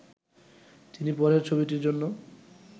তিনি পরের ছবিটির জন্য